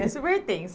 É super tenso.